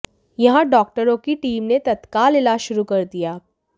यहां डॉक्टरों की टीम ने तत्काल इलाज शुरू कर दिया